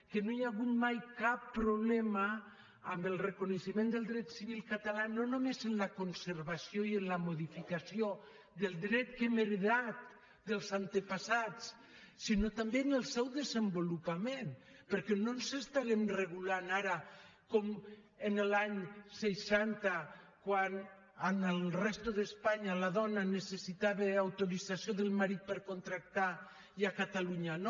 que no hi ha hagut mai cap problema amb el reconeixement del dret civil català no només en la conservació i en la modificació del dret que hem heretat dels avantpassats sinó també en el seu desenvolupament perquè no ens estarem regulant ara com l’any seixanta quan a la resta d’espanya la dona necessitava autorització del marit per contractar i a catalunya no